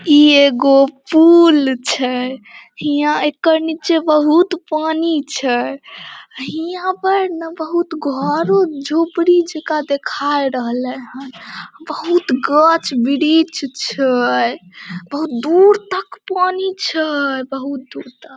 इ एगो पुल छै हीया एकर नीचा बहुत पानी छै हीया पर ने बहुत घरों झोपड़ी जाका देखा रहले हेय बहुत गाछ वृक्ष छै बहुत दूर तक पानी छै बहुत दूर तक ।